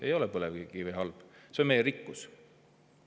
Ei ole põlevkivi halb, see on meie rikkus.